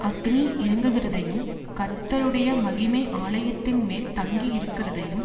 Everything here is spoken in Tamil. அக்கினி இறங்குகிறதையும் கர்த்தருடைய மகிமை ஆலயத்தின்மேல் தங்கியிருக்கிறதையும்